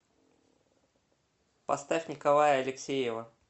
поставь николая алексеева